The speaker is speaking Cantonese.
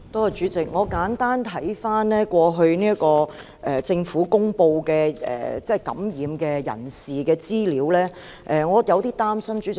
主席，看過政府公布感染人士的資料，我感到有點擔心。